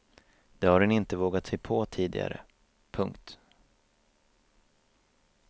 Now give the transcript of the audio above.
Det har hon inte vågat sig på tidigare. punkt